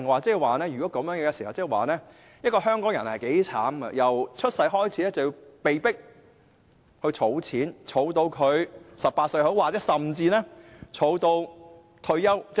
若然如此，香港人也相當可悲，因為打從出生那天便被迫儲蓄，直至18歲甚或65歲的退休年齡。